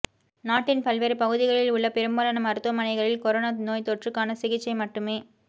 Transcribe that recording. நாட்டின் பல்வேறு பகுதிகளில் உள்ள பெரும்பாலான மருத்துவமனைகளில் கொரோனா நோய் தொற்றுக்கான சிகிச்சை மட்டுமே